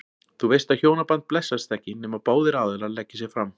Þú veist að hjónaband blessast ekki, nema báðir aðilar leggi sig fram.